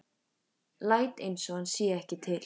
Læt einsog hann sé ekki til.